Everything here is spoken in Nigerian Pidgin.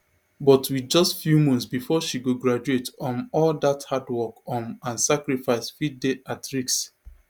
but wit just few months bifor she go graduate um all dat hard work um and sacrifice fit dey at risk